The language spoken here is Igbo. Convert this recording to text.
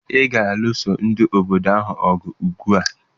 Ị ga-alụso ndị obodo ahụ ọgụ ugbua!